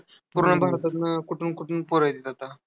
पूर्ण भारतातून कुठून कुठून पोरं येतात आता.